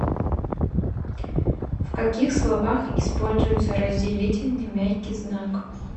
в каких словах используется разделительный мягкий знак